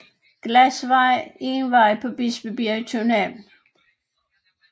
Glasvej er en vej på Bispebjerg i København